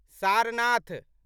Sarnath